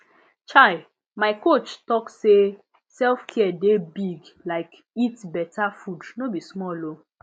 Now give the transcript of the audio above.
chai my coach talk say selfcare dey big like eat beta food no be small o